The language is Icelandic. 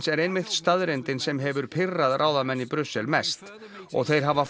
er einmitt staðreyndin sem hefur pirrað ráðamenn í Brussel mest og þeir hafa